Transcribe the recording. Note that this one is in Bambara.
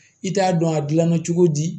I t'a dɔn a gilanna cogo di